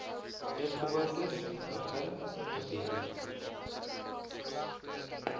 eetgewoontes begin beweeg